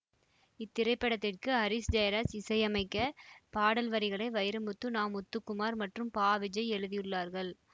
இத்திரைப்படத்திற்கு ஹாரிஸ் ஜெயராஜ் இசை அமைக்க பாடல் வரிகளை வைரமுத்து நாமுத்துக்குமார் மற்றும் பா விஜய் எழுதியுள்ளார்கள்